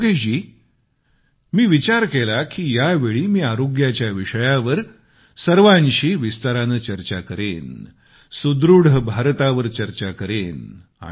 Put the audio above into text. योगेशजी मी विचार केला की यावेळी मी आरोग्याच्या विषयावर सर्वांशी विस्ताराने चर्चा करेन सुदृढ भारतावर चर्चा करेन